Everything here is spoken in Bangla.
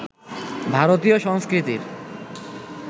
ভারতীয় সংস্কৃতির